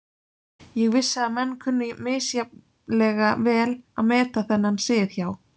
Ég vissi að menn kunnu misjafnlega vel að meta þennan sið hjá